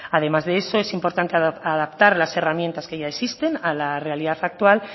además de eso es importante adaptar las herramientas que ya existen a la realidad actual